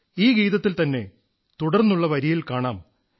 ഈ ഗീതത്തിൽ ത്തന്നെ തുടർന്നുള്ള വരിയിൽ കാണാം